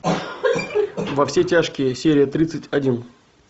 во все тяжкие серия тридцать один